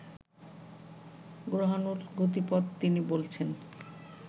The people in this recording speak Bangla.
গ্রহাণুর গতিপথ তিনি বলছেন